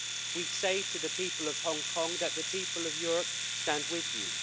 We say to the people of Hong Kong that the people of Europe stand with you.